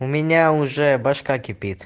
у меня уже башка кипит